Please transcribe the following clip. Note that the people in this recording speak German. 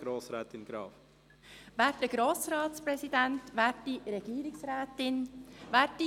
für die grüne Fraktion: Grossrätin Graf.